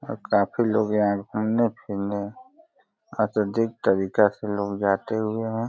और काफी लोग यहाँ घूमने फिरने अत्यधिक तरीका से लोग जाते हुए हैं।